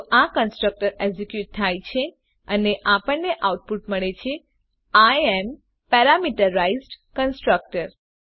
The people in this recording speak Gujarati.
તો આ કન્સ્ટ્રકટર એક્ઝેક્યુટ થાય છે અને આપણને આઉટપુટ મળે છે આઇ એએમ પેરામીટરાઇઝ્ડ કન્સ્ટ્રક્ટર